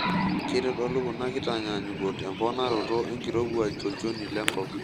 Keitodolu kuna kitanyaanyukot emponaroto enkirowuaj tolchoni lenkop.